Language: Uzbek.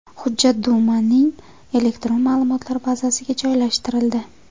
Hujjat Dumaning elektron ma’lumotlar bazasiga joylashtirildi.